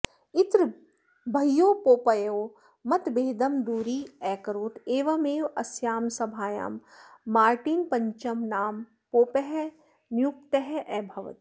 इत्र बह्वोः पोपयोः मतभेदम् दुरी अकरोत् एवमेव अस्याम् सभायाम् मार्टिन्पञ्चमः नाम पोपः नियुक्तः अभवत्